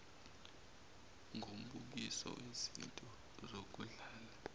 ngombukiso wezinto zokudlala